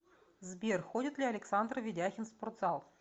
сбер ходит ли александр ведяхин в спортзал